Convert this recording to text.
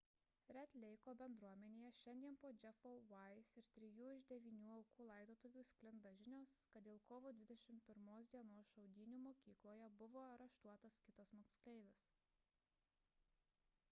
red leiko bendruomenėje šiandien po jeffo weise ir trijų iš devynių aukų laidotuvių sklinda žinios kad dėl kovo 21 d šaudynių mokykloje buvo areštuotas kitas moksleivis